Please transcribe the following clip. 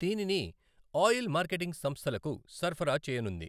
దీనిని oil marketing సంస్థలకు సరఫరా చేయనుంది.